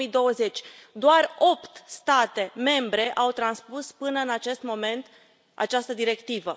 2020. Doar opt state membre au transpus până în acest moment această directivă.